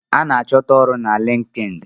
A ná achọta ọrụ na LinkedIn.